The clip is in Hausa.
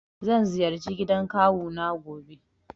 Zan ziyarci gidan kawu na gobe.